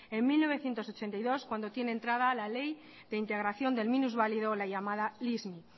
en mil novecientos ochenta y dos cuando tiene entrada la ley de integración del minusválido la llamada lismi